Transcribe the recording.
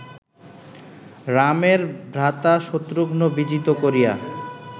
রামের ভ্রাতা শত্রুঘ্ন বিজিত করিয়া